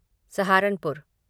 Saharanpur